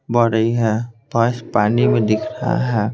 बढ़ रही है पास पानी में दिख रहा है।